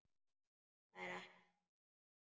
Þetta er ekki satt!